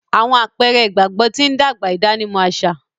Awọn àpẹrẹ ìgbàgbọ tí n dàgbà ìdánimọ̀ aṣa